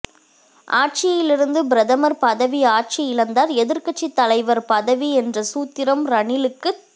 ஆட்சியிலிருந்தால் பிரதமர் பதவி ஆட்சியிழந்தால் எதிர்க்கட்சித் தலைவர் பதவி என்ற சூத்திரம் ரணிலுக்குத்